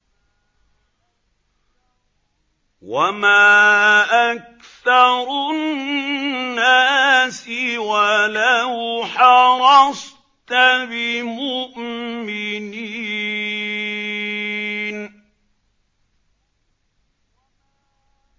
وَمَا أَكْثَرُ النَّاسِ وَلَوْ حَرَصْتَ بِمُؤْمِنِينَ